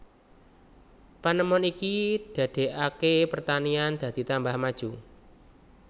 Panemon iki dadekake pertanian dadi tambah maju